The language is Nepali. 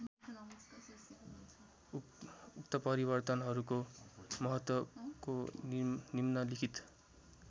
उत्परिवर्तनहरूको महत्त्वको निम्नलिखित